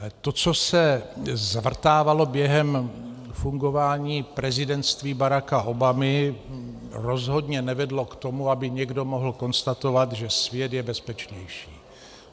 To, co se zvrtávalo během fungování prezidentství Baracka Obamy, rozhodně nevedlo k tomu, aby někdo mohl konstatovat, že svět je bezpečnější.